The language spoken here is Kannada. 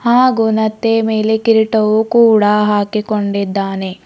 ಹಾಗು ನತ್ತೆಯ ಮೇಲೆ ಕಿರೀಟವು ಕೂಡ ಹಾಕಿಕೊಂಡಿದ್ದಾನೆ.